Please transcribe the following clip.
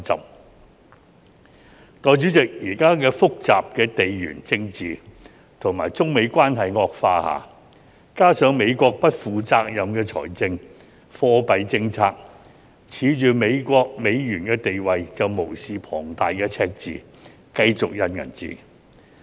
代理主席，在現時複雜的地緣政治和中美關係惡化下，加上美國不負責任的財政和貨幣政策，恃着美國、美元的地位就無視龐大的赤字，繼續印鈔票。